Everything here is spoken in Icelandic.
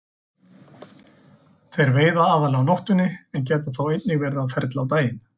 Þeir veiða aðallega á nóttunni en geta þó einnig verið á ferli á daginn.